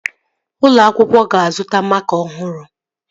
Ụlọ akwụkwọ ga-azụta makaa ọhụrụ